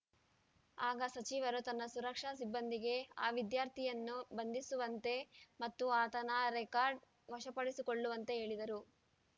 ಆಗ ಸಚಿವರು ತನ್ನ ಸುರಕ್ಷಾ ಸಿಬ್ಬಂದಿಗೆ ಆ ವಿದ್ಯಾರ್ಥಿಯನ್ನು ಬಂಧಿಸುವಂತೆ ಮತ್ತು ಆತನ ರೆಕಾರ್ಡ ವಶಪಡಿಸಿಕೊಳ್ಳುವಂತೆ ಹೇಳಿದರು